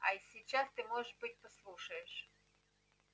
а сейчас ты может быть послушаешь